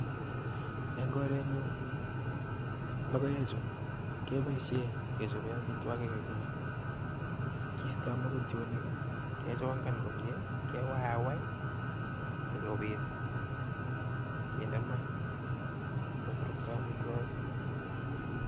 En korenyun logoechu keboishien kechoben amitwogiik. kistoo mbogotionik, kichongan kewayaiwai sikobit kinde maa keburuktoen amitwogik